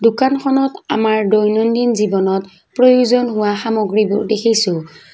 দোকানখনত আমাৰ দৈনন্দিন জীৱনত প্ৰয়োজন হোৱা সামগ্ৰীবোৰ দেখিছোঁ।